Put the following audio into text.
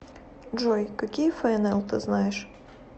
джой какие фнл ты знаешь